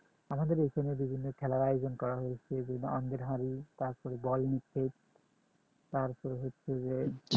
আমাদের এখানে বিভিন্ন খেলার আয়োজন করা হয়েছিল অন্ধের হাড়ি তারপরে বল নিক্ষেপ তারপরে হচ্ছে যে